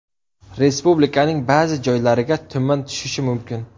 Respublikaning ba’zi joylariga tuman tushishi mumkin.